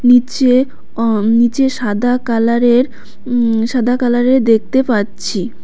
নীচে অ নীচে সাদা কালারের উম সাদা কালারের দেখতে পাচ্ছি।